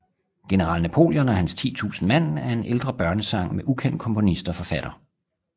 General Napoleon og hans titusind mand er en ældre børnesang med ukendt komponist og forfatter